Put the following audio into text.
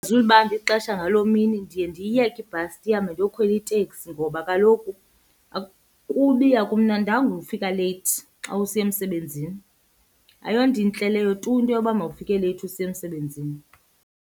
Ixesha ngaloo mini ndiye ndiyiyeke ibhasi ndihambe ndiyokhwela iteksi ngoba kaloku kubi akumnandanga ufika leyithi xa usiya emsebenzini. Ayonto intle leyo tu into yoba mawufake leyithi usiya emsebenzini.